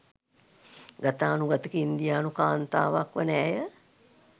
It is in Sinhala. ගතානුගතික ඉන්දියානු කාන්තාවක් වන ඇය